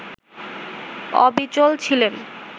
অবিচল ছিলেন